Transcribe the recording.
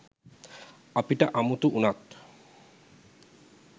අපිට අමුතු උනත්